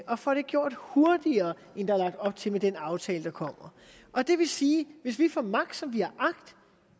og får det gjort hurtigere end der er lagt op til med den aftale der kommer og det vil sige hvis vi får magt som vi har agt